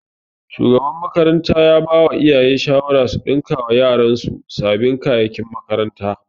Shugaban makaranta ya bawa iyaye shawara su ɗinkawa yaran su sabin kayakin makaranta